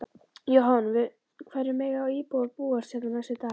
Jóhann: Við hverju mega íbúar búast hérna næstu daga?